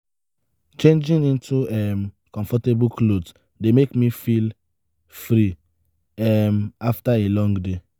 changing into um comfortable clothes dey make me feel free um after a long day.